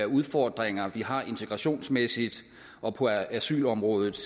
udfordringer vi har integrationsmæssigt og på asylområdet